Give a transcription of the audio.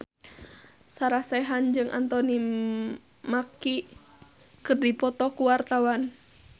Sarah Sechan jeung Anthony Mackie keur dipoto ku wartawan